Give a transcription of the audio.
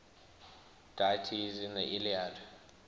deities in the iliad